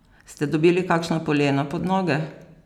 Ste dobili kakšna polena pod noge?